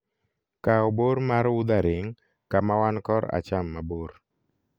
kaw bor mar wuthering kama wan kor acham mabor